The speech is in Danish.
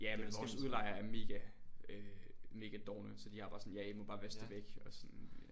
Ja men vores udlejere er mega øh mega dovne så de har bare sådan ja i må bare vaske det væk og sådan